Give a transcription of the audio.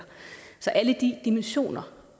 så alle de dimensioner